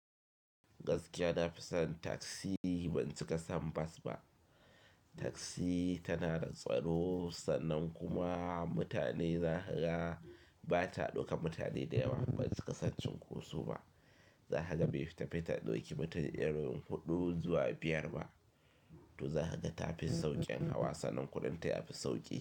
Gaskiya nafi son taksi ban cika sam bas ba. Taksi tana da tsaro sannan kuma mutane zahaga bata dauka mutane da yawa ban cika son cunkoso ba. Zahaga be fita bai ta dauki mutane eroyin huɗu zuwa biyar ba. To zahaga tafi sauƙin hawa sannan kuɗin ta yafi sauƙi.